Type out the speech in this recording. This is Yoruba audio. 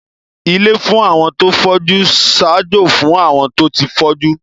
Ilé fún àwọn tó fọ́jú ń ṣaájó fún àwọn tó ti fọ́jú